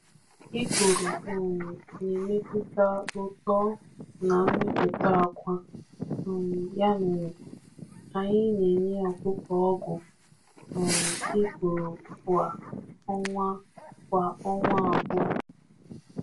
Nri nwere nje na-emetụta uto na mmepụta akwa, ya mere, anyị mere, anyị na-ewepụ ha ugboro abụọ n’ọnwa abụọ.